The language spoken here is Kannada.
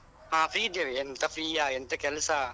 ಹಾ free ಇದ್ದೇವೆ ಎಂತಾ free ಯಾ ಎಂತಾ ಕೆಲ್ಸ.